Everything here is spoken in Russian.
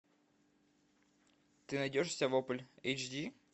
ты найдешь у себя вопль эйч ди